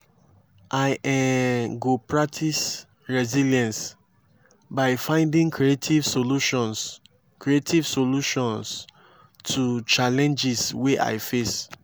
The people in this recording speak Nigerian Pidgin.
i um go practice resilience by finding creative solutions creative solutions to challenges wey i face.